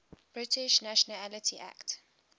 british nationality act